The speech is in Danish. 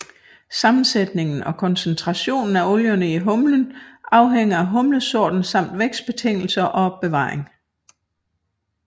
Sammensætningen og koncentrationen af olierne i humlen afhænger af humlesorten samt vækstbetingelser og opbevaring